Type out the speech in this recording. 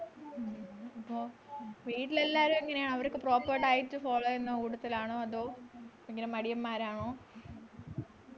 വീട്ടിലെല്ലാരും എങ്ങനെയാ അവരൊക്കെ proper diet follow ചെയ്യുന്ന കൂട്ടത്തിലാണോ അതോ മടിയന്മാരാണോ